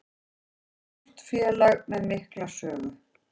Stórt félag með mikla sögu